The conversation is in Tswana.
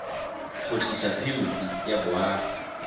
go tlisa phemiti ya boagi